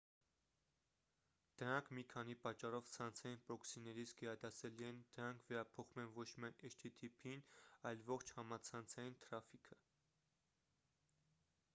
դրանք մի քանի պատճառով ցանցային պրոքսիներից գերադասելի են. դրանք վերափոխում են ոչ միայն http-ն այլ ողջ համացանցային թրաֆիքը: